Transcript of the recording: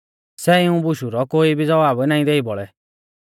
सै इऊं बुशु रौ कोई भी ज़वाब नाईं देई बौल़ै